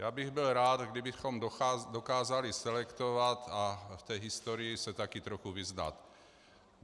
Já bych byl rád, kdybychom dokázali selektovat a v té historii se také trochu vyznat.